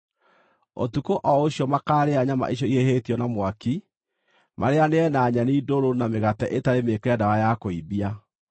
Ũtukũ o ũcio makaarĩa nyama icio ihĩhĩtio na mwaki, marĩĩanĩrie na nyeni ndũrũ na mĩgate ĩtarĩ mĩĩkĩre ndawa ya kũimbia.